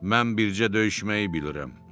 Mən bircə döyüşməyi bilirəm,